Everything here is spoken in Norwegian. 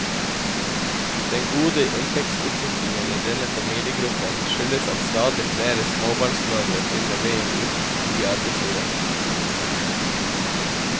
Den gode inntektsutviklingen i denne familiegruppen skyldes at stadig flere småbarnsmødre finner veien ut i arbeidslivet.